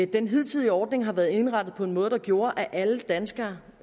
den hidtige ordning har været indrettet på en måde der gjorde at alle danskere